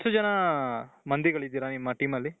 ಎಷ್ಟು ಜನ ಮoದಿಗಳಿದ್ದೀರಾ ನಿಮ್ಮ team ಅಲ್ಲಿ ?